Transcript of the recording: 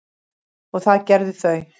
og það gerðu þau.